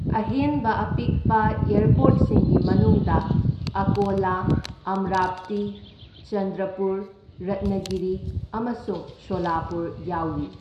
ꯑꯍꯦꯟꯕ ꯑꯄꯤꯛꯄ ꯑꯦꯔꯄꯣꯔꯠꯁꯤꯡꯒꯤ ꯃꯅꯨꯡꯗ ꯑꯀꯣꯂ, ꯑꯝꯔꯥꯚꯇꯤ, ꯆꯟꯗ꯭ꯔꯄꯨꯔ, ꯔꯠꯅꯒꯤꯔꯤ ꯑꯃꯁꯨꯡ ꯁꯣꯂꯄꯨꯔ ꯌꯥꯎꯔꯤ꯫